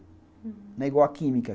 Não é igual a química.